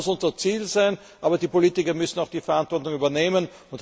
Das muss unser Ziel sein, aber die Politiker müssen auch die Verantwortung übernehmen.